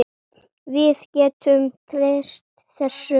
Við getum treyst þessu.